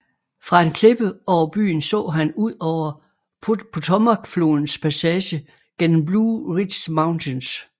Fra en klippe over byen så han ud over Potomacflodens passage gennem Blue Ridge Mountains